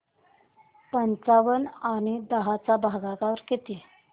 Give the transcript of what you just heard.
पंचावन्न आणि दहा चा भागाकार किती